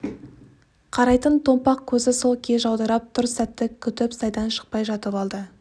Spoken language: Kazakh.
қарайтын томпақ көзі сол күйі жаудырап тұр сәтті күтіп сайдан шықпай жатып алды